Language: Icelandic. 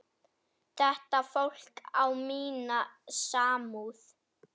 Þetta fólk á mína samúð.